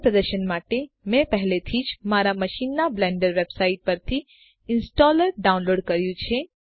સરળ પ્રદર્શન માટે મેં પહેલાથી જ મારા મશીનમાં બ્લેન્ડર વેબસાઈટ પરથી ઈંસ્ટોલર ડાઉનલોડ કર્યું છે